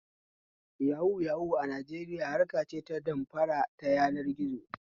Yahu yahu a Najeriya harkace ta damfara ta yanar gizo